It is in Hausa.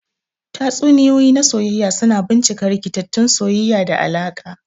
Tatsuniyoyi na soyayya suna bincika rikitattun soyayya da alaƙa.